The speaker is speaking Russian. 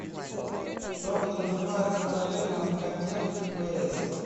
что подразумевается под термином контент в пс